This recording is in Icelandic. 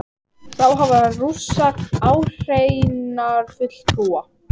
Þá hafa Rússar áheyrnarfulltrúa